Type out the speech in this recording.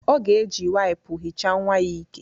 Ọ ga-eji waipu hicha nnwa ya ìkè